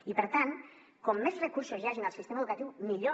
i per tant com més recursos hi hagin al sistema educatiu millor